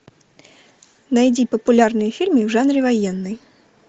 найди популярные фильмы в жанре военный